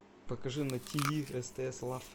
покажи на тиви стс лав